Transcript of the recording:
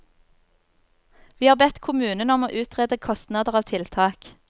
Vi har bedt kommunen om å utrede kostnader av tiltak.